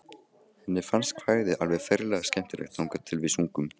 Henni fannst kvæðið alveg ferlega skemmtilegt þangað til við sungum